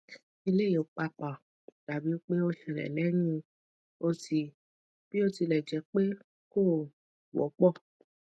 eleyi papa dabi pe o ṣẹlẹ lehin oti biotilẹjẹpe ko wọpọ